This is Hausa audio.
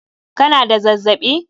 Ka na da zazzaɓi?